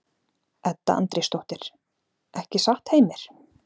Edda Andrésdóttir:. ekki satt, Heimir?